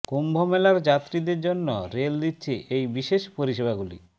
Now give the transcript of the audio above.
কুম্ভ মেলার যাত্রীদের জন্য রেল দিচ্ছে এই বিশেষ পরিষেবাগুলি